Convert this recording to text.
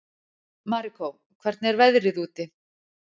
Marikó, hvernig er veðrið úti?